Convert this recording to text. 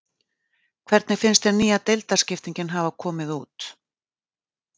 Hvernig finnst þér nýja deildarskiptingin hafa komið út?